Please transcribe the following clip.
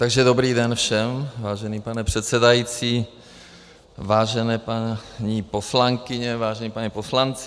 Takže dobrý den všem, vážený pane předsedající, vážené paní poslankyně, vážení páni poslanci.